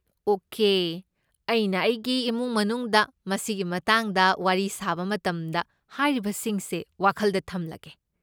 Okay, ꯑꯩꯅ ꯑꯩꯒꯤ ꯏꯃꯨꯡ ꯃꯅꯨꯡꯗ ꯃꯁꯤꯒꯤ ꯃꯇꯥꯡꯗ ꯋꯥꯔꯤ ꯁꯥꯕ ꯃꯇꯝꯗ ꯍꯥꯏꯔꯤꯕꯁꯤꯡꯁꯦ ꯋꯥꯈꯜꯗ ꯊꯝꯂꯒꯦ꯫